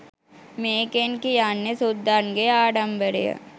මේකෙන් කියන්නේ සුද්දන්ගේ ආඩමිබරය